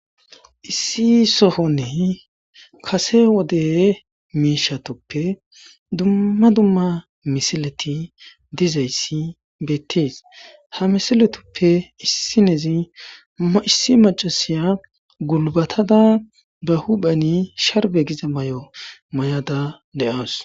Issi sohonne kase wode miishatoppe dumma dumma misileti dizayssi beettees ha misiletoppe issinezi maysi macasiya gulbatada ba huphani sharbe giza may7o may7ada le7aos